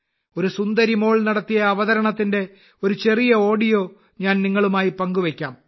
ഒരു പെൺകുട്ടി നടത്തിയ അവതരണത്തിന്റെ ഒരു ചെറിയ ഓഡിയോ ഞാൻ നിങ്ങളുമായി പങ്കുവയ്ക്കാം